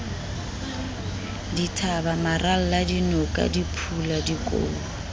dithaba maralla dinoka diphula dikou